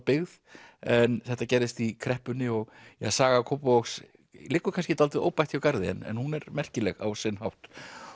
byggð en þetta gerðist í kreppunni og saga Kópavogs liggur kannski dálítið óbætt hjá garði en hún er merkileg á sinn hátt